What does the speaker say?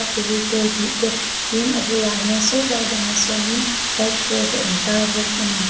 fevicol tih te tin a bulah hian sawtlai bangah sawnin white board a in tar bawk a ni.